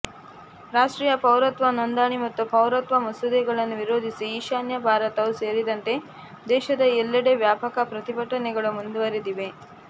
ರಾಷ್ಟ್ರೀಯ ಪೌರತ್ವ ನೋಂದಣಿ ಮತ್ತು ಪೌರತ್ವ ಮಸೂದೆಗಳನ್ನು ವಿರೋಧಿಸಿ ಈಶಾನ್ಯ ಭಾರತವೂ ಸೇರಿದಂತೆ ದೇಶದ ಎಲ್ಲೆಡೆ ವ್ಯಾಪಕ ಪ್ರತಿಭಟನೆಗಳು ಮುಂದುವರೆದಿವೆ